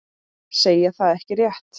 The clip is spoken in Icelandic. Segja það ekki rétt.